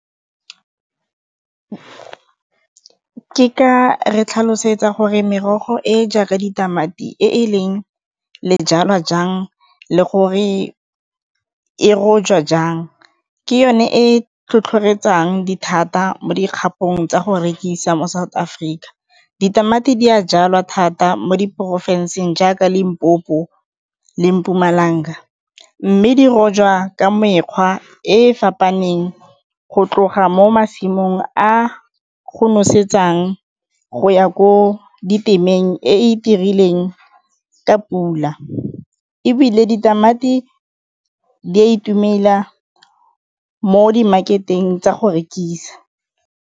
Ke ka re tlhalosetsa gore merogo e e jaaka ditamati e e leng jang le gore le rojwa jang, ke yone e tlhotlhoretsang dithata mo dikgapong tsa go rekisa mo South Africa. Ditamati di a jalwa thata mo di porofenseng jaaka Limpopo le Mpumalanga, mme di rojwa ka mekgwa e fapaneng go tloga mo masimong a go nosetsang go ya ko ditemeng e e itirileng ka pula. Ebile ditamati di a itumela mo di market-eng tsa go rekisa.